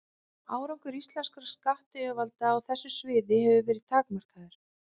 Árangur íslenskra skattyfirvalda á þessu sviði hefur verið takmarkaður.